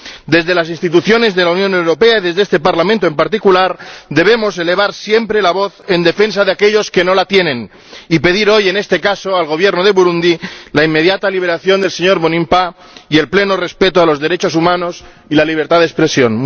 Desde las instituciones de la Unión Europea y, desde este Parlamento en particular, debemos elevar siempre la voz en defensa de aquellos que no la tienen y pedir hoy, en este caso, al Gobierno de Burundi, la inmediata liberación del señor Mbonimpa y el pleno respeto de los derechos humanos y la libertad de expresión.